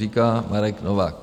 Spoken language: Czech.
Říká Marek Novák.